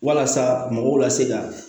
Walasa mɔgɔw ka se ka